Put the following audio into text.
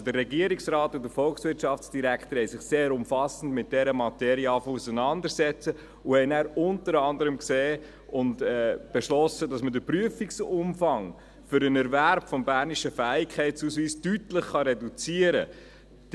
Also: Der Regierungsrat und der Volkswirtschaftsdirektor haben begonnen sich sehr umfassend mit dieser Materie auseinanderzusetzen und haben danach unter anderem gesehen und beschlossen, dass man den Prüfungsumfang für den Erwerb des bernischen Fähigkeitsausweises deutlich reduzieren kann.